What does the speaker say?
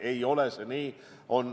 Ei ole nii.